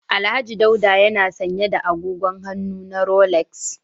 Alhaji Daula yana sanye da agogon hannu na Rolex